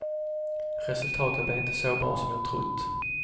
Resultatet blev inte så bra som jag trott.